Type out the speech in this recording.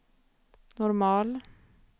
normal